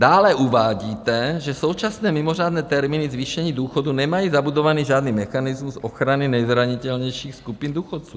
Dále uvádíte, že současné mimořádné termíny zvýšení důchodů nemají zabudovaný žádný mechanismus ochrany nejzranitelnějších skupin důchodců.